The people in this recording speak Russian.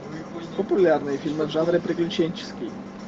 популярные фильмы в жанре приключенческий